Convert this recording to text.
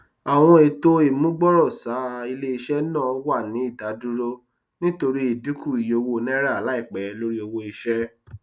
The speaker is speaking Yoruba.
àwọn ètò ìmúgbòròṣà iléiṣẹ náà wà ní ìdádúró nítorí idinku iye owó naírà laipẹ lórí owó iṣẹ